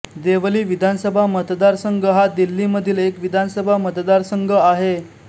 देवली विधानसभा मतदारसंघ हा दिल्लीमधील एक विधानसभा मतदारसंघ आहे